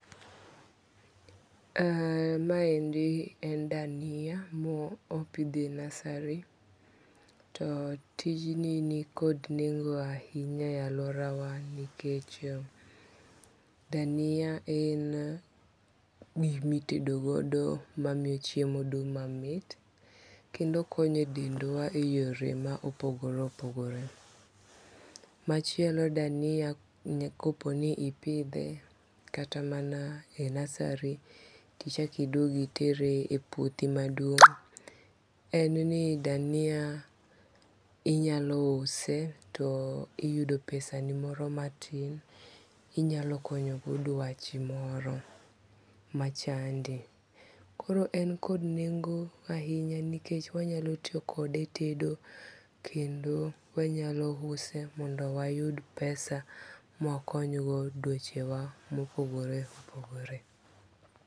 Maendi en dania mo opithe nursery to tijni nikod nengo ahinya e aluorawa nikech dania en gikmitedogodo mamiyo chiemo dung' mamit kendo okonyo e dendwa e yore ma opogore opogore. Machielo dania koponi ipithe kata mana e nursery tichaki duogi itere e puothi maduong', en ni dania inyalo use to iyudo pesani moro matin inyalo konyogo dwachi moro machandi, koro en kod nengo' ahinya nikech onyalo tiyo kode e tedo kendo wanyalo use mondo wayud pesa mwakonygo dwechewa mopogore opogore.